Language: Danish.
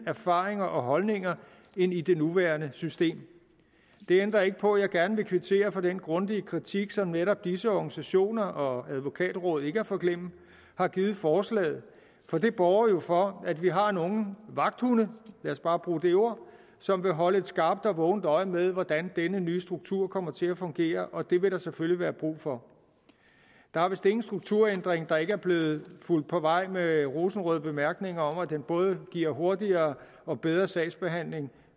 erfaringer og holdninger end i det nuværende system det ændrer ikke på at jeg gerne vil kvittere for den grundige kritik som netop disse organisationer og advokatrådet ikke at forglemme har givet forslaget for det borger jo for at vi har nogle vagthunde lad os bare bruge det ord som vil holde et skarpt og vågent øje med hvordan denne nye struktur kommer til at fungere og det vil der selvfølgelig være brug for der er vist ingen strukturændring der ikke er blevet fulgt på vej med rosenrøde bemærkninger om at den både giver hurtigere og bedre sagsbehandling